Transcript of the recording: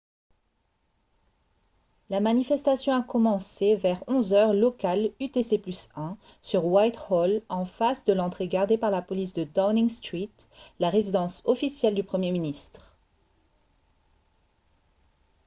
la manifestation a commencé vers 11 h heure locale utc+1 sur whitehall en face de l'entrée gardée par la police de downing street la résidence officielle du premier ministre